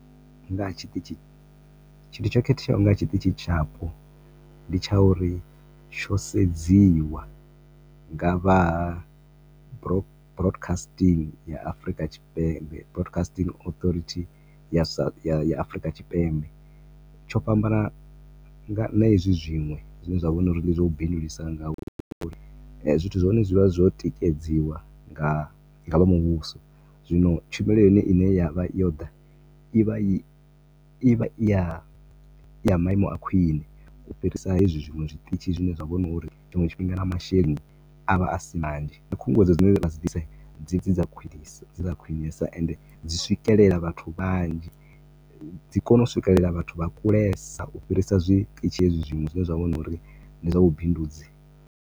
Nga ha tshiṱitshi, tshithu tsho khetheaho kha ha tshiṱitshi tshapo ndi tsha uri tsho sedziwa nga vha ha broadcasting ya Afrika Tshipembe, broadcasting authority ya Afrika Tshipembe, tsho fhambana na hezwi zwinwe zwi ne zwa vha zwa uri ndi zwa u bindulusa nga uri zwithu zwa hone zwi vha zwo tikedziwa nga vha muvhuso, zwino tshumelo ya hone ine ya vha yo ḓa ivha i, i vha i ya, i ya maimo a khwiṋe u fhirisa hezwi zwinwe zwiṱitshi zwine zwa vha hu no uri tshinzwe tshifhinga na masheleni avha a si manzhi, na khunguwedzo dzine vha dzi ḓisa dzi vha dzi dza khwinesa ende dzi swikelela vhathu vhanzhi, dzi kona u swikelela vhathu vha kulesa u fhirisa zwiṱitshi hezwi zwinwe zwine zwa vha na uri ndi zwa vhu bindudzi.